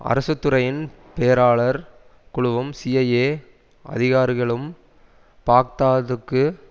அரசு துறையின் பேராளர் குழுவும் சிஐஏ அதிகாரிகளும் பாக்தாதுக்கு